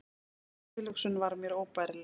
Sú tilhugsun var mér óbærileg.